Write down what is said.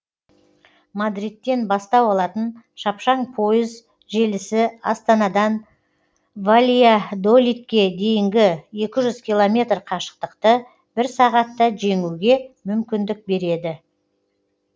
мадридтен бастау алатын шапшаң пойыз желісі астанадан вальядолидке дейінгі екі жүз километр қашықтықты бір сағатта жеңуге мүмкіндік береді